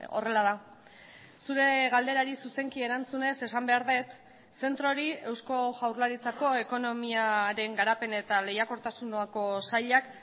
horrela da zure galderari zuzenki erantzunez esan behar dut zentroari eusko jaurlaritzako ekonomiaren garapen eta lehiakortasuneko sailak